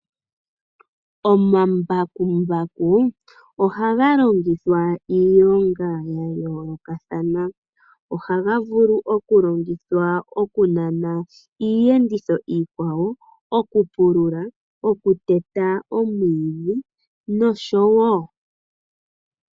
Omambakumbaku ohaga longithwa iilonga yayoolokathana. Ohaga vulu okulongithwa okunana iiyenditho iikwawo, okupulula, okuteta omwiidhi, nosho tuu.